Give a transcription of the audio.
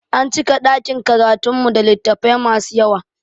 An cika ɗakin karatun mu da littafai masu yawa